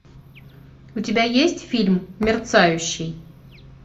у тебя есть фильм мерцающий